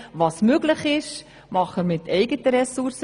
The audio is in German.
Was möglich ist, machen wir mit eigenen Ressourcen.